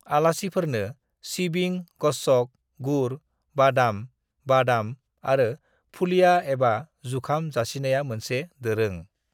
"आलासिफोरनो सिबिं, गच्छक, गुर, बादाम (बादाम) आरो फुलिया एबा जुखाम जासिनाया मोनसे दोरों।"